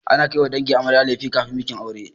Ana kaiwa dangin amarya lefe kafin bikin aure.